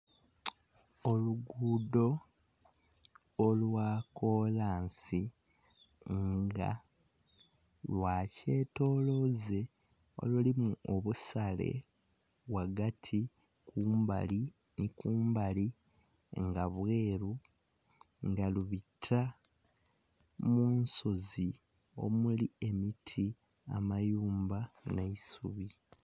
Olugudho olwa kolansi nga lwa kyetoloze olulimu obusale ghagati kumbali nhi kumbali nga bweru nga lubita mu nsozi omuli emiti, amayumba nhe isubi.